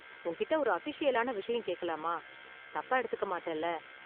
உன்கிட்ட ஒரு அஃபீஷியலான விஷயம் கேக்கலாமா? தப்பா எடுத்துக்க மாட்டல்ல?